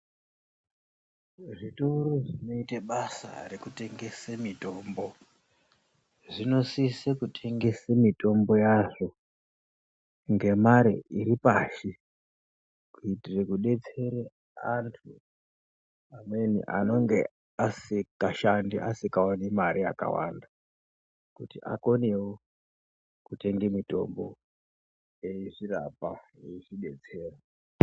Zvitoro zvinoita basa rekutengese mitombo zvinosise kutengese mitombo yazvo ngemare iripashi. Kuitire kudetsere antu amweni anenge asikashandi, asikaoni mare yakawanda. Kuti akonewo kutenge mitombo eizvirapa eizvidetsera.